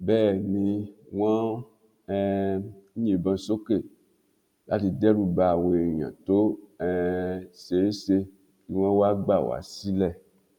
bẹ́ẹ̀ ni wọ́n ń um yìnbọn sókè láti dẹ́rù ba àwọn èèyàn tó um ṣe é ṣe kí wọn wá gbà wá sílẹ̀